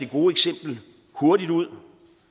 gode eksempel hurtigt ud